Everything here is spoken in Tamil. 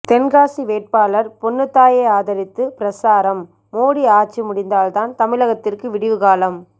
தென்காசி வேட்பாளர் பொன்னுத்தாயை ஆதரித்து பிரசாரம் மோடி ஆட்சி முடிந்தால்தான் தமிழகத்திற்கு விடிவு காலம்